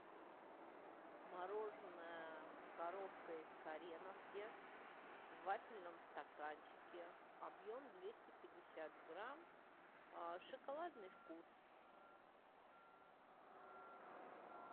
мороженое коровка из кореновки в вафельном стаканчике объем двести пятьдесят грамм шоколадный вкус